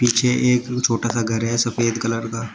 पीछे एक छोटा सा घर है सफेद कलर का।